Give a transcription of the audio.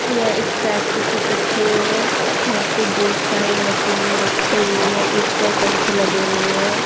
यह एक फैक्ट की तस्वीर है यहां पे बहोत सारी मशीनें रखी हुई हैं ऊपर पंख लगे हुए हैं।